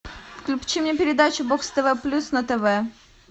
включи мне передачу бокс тв плюс на тв